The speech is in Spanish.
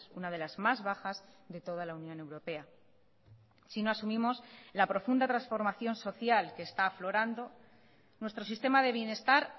una de las más bajas de toda la unión europea si no asumimos la profunda transformación social que está aflorando nuestro sistema de bienestar